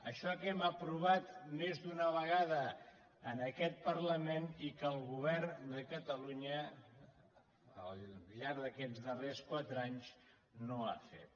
això que hem aprovat més d’una vegada en aquest parlament i que el govern de catalu·nya al llarg d’aquests darrers quatre anys no ha fet